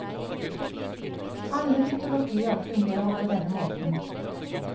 Alle mytologier fungerer på denne måten.